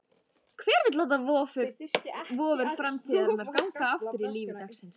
Hver vill láta vofur fortíðarinnar ganga aftur í lífi dagsins?